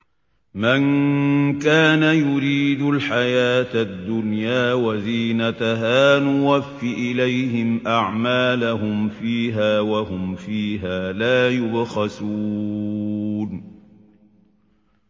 مَن كَانَ يُرِيدُ الْحَيَاةَ الدُّنْيَا وَزِينَتَهَا نُوَفِّ إِلَيْهِمْ أَعْمَالَهُمْ فِيهَا وَهُمْ فِيهَا لَا يُبْخَسُونَ